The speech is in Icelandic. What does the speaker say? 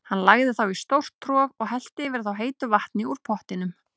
Hann lagði þá í stórt trog og hellti yfir þá heitu vatni úr pottinum.